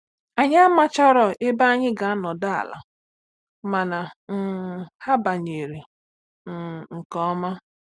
Anyị amacharọ ebe anyị ga-anọdụ ala, mana um ha banyere um nke ọma.